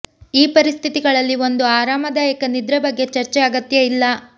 ಈ ಪರಿಸ್ಥಿತಿಗಳಲ್ಲಿ ಒಂದು ಆರಾಮದಾಯಕ ನಿದ್ರೆ ಬಗ್ಗೆ ಚರ್ಚೆ ಅಗತ್ಯ ಅಲ್ಲ